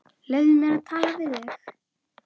Leyfðu mér að tala við þig!